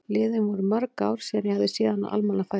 Liðin voru mörg ár síðan ég hafði séð hana á almannafæri.